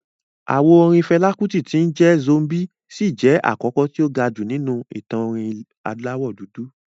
Àwo orin Fẹlá Kútì tí ń jẹ́ "Zombie" ṣì jẹ́ àkọ́kọ́ tí ó ga jù nínú ìtàn orin aláwọ̀ dúdú